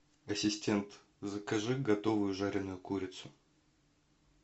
ассистент закажи готовую жареную курицу